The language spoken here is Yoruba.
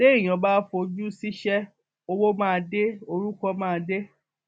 téèyàn bá fojú ṣíṣe owó máa dé orúkọ máa dé